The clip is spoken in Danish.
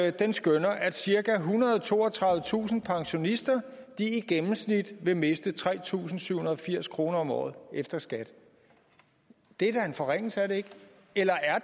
at den skønner at cirka ethundrede og toogtredivetusind pensionister i gennemsnit vil miste tre tusind syv hundrede og firs kroner om året efter skat det er da en forringelse er det ikke eller